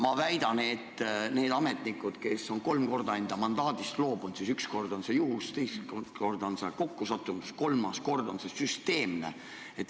Ma väidan, et kui ametnik on kolm korda enda mandaadist loobunud, siis üks kord võis see olla juhus, teist korda võis see olla kokkusattumus, aga kolmas kord on see süsteemne käitumine.